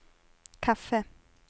kaffe